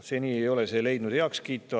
Seni ei ole need heakskiitu leidnud.